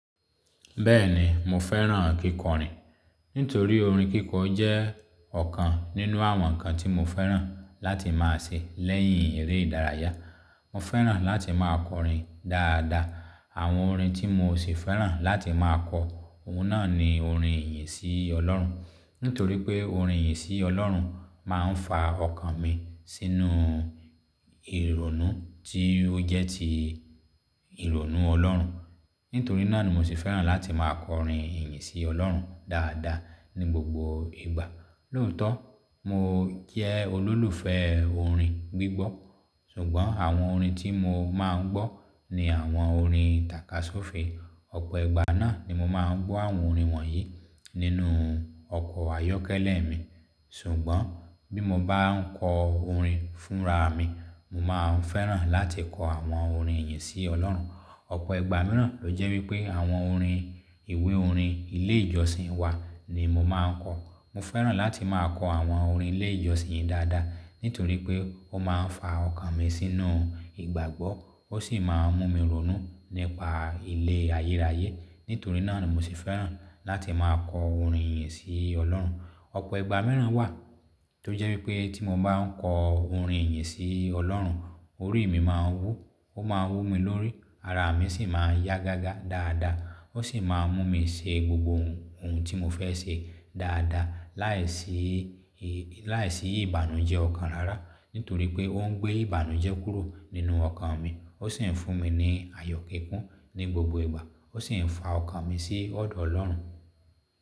Bẹ́ẹ̀ni, mo fẹ́ràn kíkọrin. Nítorí orin kíkọ jẹ́ ọ̀kan nínú àwọn nǹkan tí mo fẹ́ràn láti máa ṣe lẹ́yìn eré ìdárayá. Mo fẹ́ràn láti máa kọrin dáadáa. Àwọn orin tí mo sì fẹ́ràn láti máa kọ, òun náà ni orin ìyìn sí Ọlọ́run. Nítorí pé orin ìyìn sí Ọlọ́run máa ń fa ọkàn mi sínú ìrònú tí ó jẹ́ ti ìrònú Ọlọ́run. Nítorí náà ni mo ṣe fẹ́ràn láti máa kọ orin ìyìn sí Ọlọ́run dáadáa ní gbogbo ìgbà. Lóòótọ́, mo jẹ́ olólùfẹ́ orin gbígbọ́. Ṣùgbọ́n àwọn orin tí mo máa ń gbọ́ ni àwọn orin tàkasúfèé. Ọ̀pọ̀ ìgbà náà ni mo máa ń gbọ́ àwọn orin wọ̀nyí nínú ọkọ̀ ayọ́kẹ́lẹ́ mi. Ṣùgbọ́n bí mo bá ń kọ orin fúnra mi, mo máa ń fẹ́ràn láti kọ àwọn orin ìyìn sí Ọlọ́run. Ọ̀pọ̀ ìgbà mìíràn ló jẹ́ wípé àwọn orin ìwé orin ilé ìjọsìn wa ni mo máa ń kọ. Mo fẹ́ràn láti máa kọ àwọn orin ilé ìjọsìn dáadáa. Nítorí pé ó máa ń fa ọkàn mi sínú ìgbàgbọ́, ó sì máa ń mú mi rònú nípa ilé ayérayé. Nítorí náà ni mo sì fẹ́ràn láti máa kọ orin ìyìn sí Ọlọ́run. Ọ̀pọ̀ ìgbà mìíràn wà tó jẹ́ wípé tí mo bá ń kọ orin ìyìn sí Ọlọ́run, orí mi máa ń wú, ó máa ń wú mi lórí, ara mi sì máa yá gágá dáadáa. Ó sì máa mú mi ṣe gbogbo ohun tí mo fẹ́ ṣe dáadáa láìsí, láìsí ìbànújẹ́ ọ̀kan rárá. Nítorí pé ó ń gbé ìbànújẹ́ kúrò nínú ọkàn mi. Ó sì ń fún mi ní ayọ̀ kíkún ní gbogbo ìgbà. Ó sì ń fa ọkàn mi sí ọ̀dọ̀ Ọlọ́run.